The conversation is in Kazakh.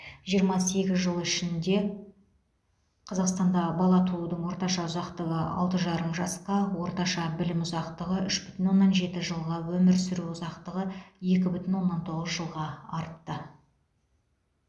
жиырма сегіз жыл ішінде қазақстанда бала туудың орташа ұзақтығы алты жарым жасқа орташа білім ұзақтығы үш бүтін оннан жеті жылға өмір сүру ұзақтығы екі бүтін оннан тоғыз жылға артты